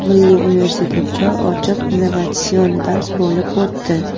Milliy universitetda ochiq innovatsion dars bo‘lib o‘tdi.